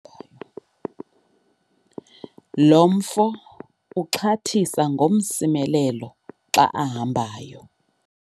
lo mfo uxhathisa ngomsimelelo xa ahambayo